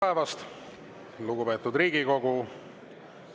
Tere päevast, lugupeetud Riigikogu!